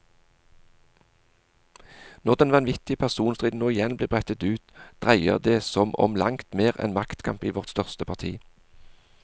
Når den vanvittige personstriden nå igjen blir brettet ut, dreier det som om langt mer enn maktkamp i vårt største parti.